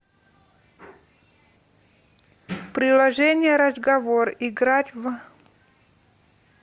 приложение разговор играть в